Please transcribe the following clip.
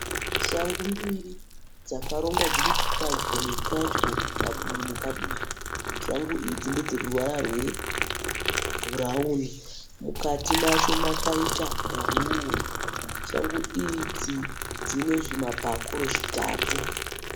Shangu mbiri dzakarongwa dziri padyo nepadyo, padivi nepadivi. Shangu idzi ndedzeruvara rwebhurawuni, mukati macho makaita bhuruwu. Shangu idzi dzine zvimabhakuru zvitatu.